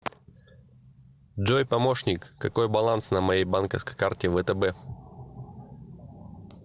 джой помощник какой баланс на моей банковской карте втб